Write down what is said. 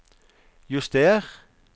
juster